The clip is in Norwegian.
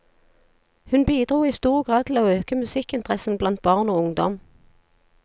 Hun bidro i stor grad til å øke musikkinteressen blant barn og ungdom.